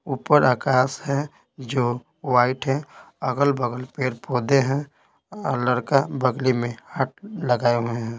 ऊपर आकाश है जो व्हाइट है अगल-बगल पेड़ पौधे हैं और लड़का बगली में हाथ लगाए हुए हैं।